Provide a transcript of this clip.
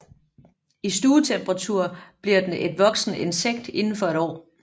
I stuetemperatur bliver den et voksent insekt indenfor et år